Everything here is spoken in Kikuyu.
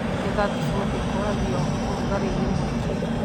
Mĩthabibũ ĩkũragio ũrugarĩ-inĩ mũingĩ.